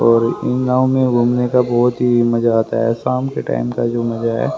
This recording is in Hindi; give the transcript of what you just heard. और इन गांवों में घूमने का बहोत ही मजा आता है शाम के टाइम का जो मजा है।